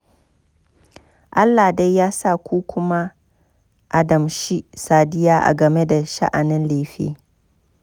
Allah dai ya sa ku ku ma a damshin sadiya a game da sha'anin lefe